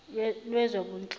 lwezobunhloli